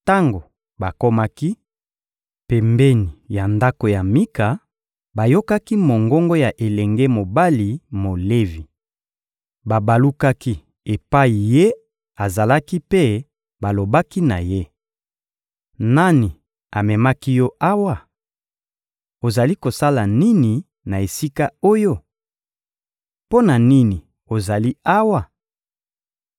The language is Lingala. Tango bakomaki pembeni ya ndako ya Mika, bayokaki mongongo ya elenge mobali Molevi. Babalukaki epai ye azalaki mpe balobaki na ye: — Nani amemaki yo awa? Ozali kosala nini na esika oyo? Mpo na nini ozali awa?